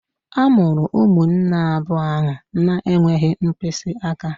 A mụrụ ụmụnne abụọ ahụ na-enweghị mkpịsị aka